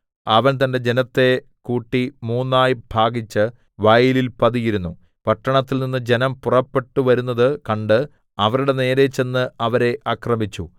അവൻ തന്റെ ജനത്തെ കൂട്ടി മൂന്നായി ഭാഗിച്ചു വയലിൽ പതിയിരുന്നു പട്ടണത്തിൽനിന്ന് ജനം പുറപ്പെട്ടുവരുന്നത് കണ്ട് അവരുടെ നേരെ ചെന്ന് അവരെ ആക്രമിച്ചു